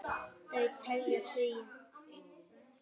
Þau telja tugi.